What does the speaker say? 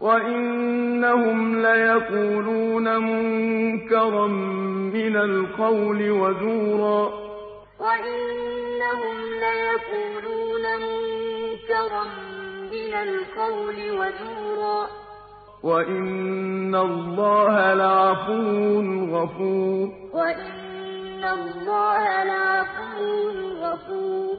وَإِنَّهُمْ لَيَقُولُونَ مُنكَرًا مِّنَ الْقَوْلِ وَزُورًا ۚ وَإِنَّ اللَّهَ لَعَفُوٌّ غَفُورٌ الَّذِينَ يُظَاهِرُونَ مِنكُم مِّن نِّسَائِهِم مَّا هُنَّ أُمَّهَاتِهِمْ ۖ إِنْ أُمَّهَاتُهُمْ إِلَّا اللَّائِي وَلَدْنَهُمْ ۚ وَإِنَّهُمْ لَيَقُولُونَ مُنكَرًا مِّنَ الْقَوْلِ وَزُورًا ۚ وَإِنَّ اللَّهَ لَعَفُوٌّ غَفُورٌ